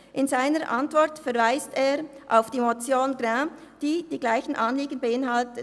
In seiner Antwort verweist er auf die Motion Grin , die die gleichen Anliegen beinhalte.